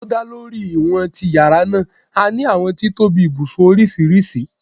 Ti o da lori iwọn ti yara naa, a ni awọn titobi ibusun oriṣiriṣi